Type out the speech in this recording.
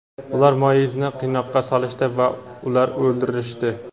ular Moizni qiynoqqa solishdi va ular o‘ldirishdi.